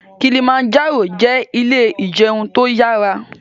Kilimanjaro jẹ ilé ìjẹun tó yára